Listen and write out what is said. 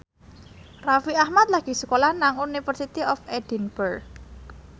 Raffi Ahmad lagi sekolah nang University of Edinburgh